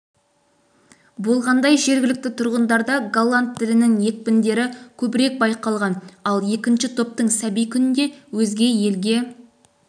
болғандай жергілікті тұрғындарда голланд тілінің екпіндері көбірек байқалған ал екінші топтың сәби күнінде өзге елге